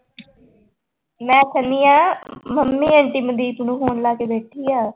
ਮੈਂ ਕਹਿਨੀ ਹਾਂ ਮੰਮੀ ਆਂਟੀ ਮਨਦੀਪ ਨੂੰ phone ਲਾ ਕੇ ਬੈਠੀ ਆ।